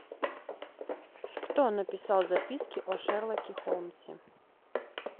кто написал записки о шерлоке холмсе